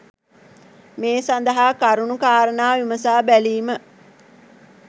මේ සඳහා කරුණු කාරණා විමසා බැලීම